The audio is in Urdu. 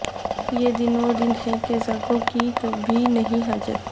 یہ دن وہ دن ہیں کہ ذاکر کی بھی نہیں حاجت